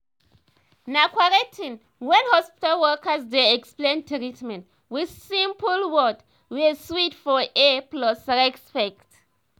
na correct tin when hospital workers dey explain treatment with simple word wey sweet for ear plus respect.